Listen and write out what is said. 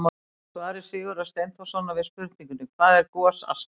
Í svari Sigurðar Steinþórssonar við spurningunni: Hvað er gosaska?